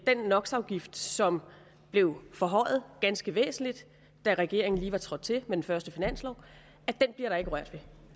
den nox afgift som blev forhøjet ganske væsentligt da regeringen lige var trådt til med den første finanslov